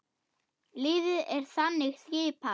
Liðið er þannig skipað